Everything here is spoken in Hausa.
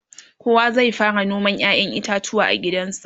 kowa zai fara noman ƴaƴan itatuwa a gidansa